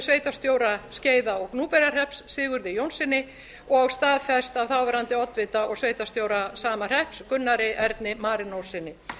sveitarstjóra skeiða og gnúpverjahrepps sigurði jónssyni og staðfest af þáverandi oddvita og sveitarstjóra sama hrepps gunnar erni marinóssyni ég hef beðist velvirðingar